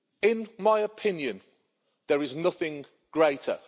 In my opinion, there is nothing greater.